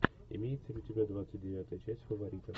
имеется ли у тебя двадцать девятая часть фаворита